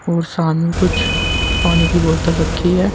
और सामने कुछ पानी की बोतल रखी है।